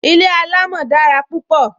Ilé alamo dára púpọ